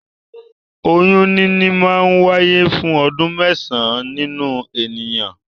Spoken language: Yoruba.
Oyún níní máa ń wáyé fún ọdún mẹ́sàn-án nínu ènìyàn.